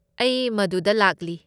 ꯑꯩ ꯃꯗꯨꯗ ꯂꯥꯛꯂꯤ꯫